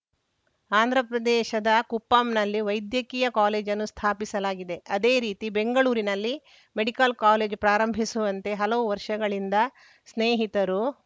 ಆಂಧ್ರ ಪ್ರದೇಶದ ಕುಪ್ಪಂನಲ್ಲಿ ವೈದ್ಯಕೀಯ ಕಾಲೇಜನ್ನು ಸ್ಥಾಪಿಸಲಾಗಿದೆ ಅದೇ ರೀತಿ ಬೆಂಗಳೂರಿನಲ್ಲಿ ಮೆಡಿಕಲ್‌ ಕಾಲೇಜು ಪ್ರಾರಂಭಿಸುವಂತೆ ಹಲವು ವರ್ಷಗಳಿಂದ ಸ್ನೇಹಿತರು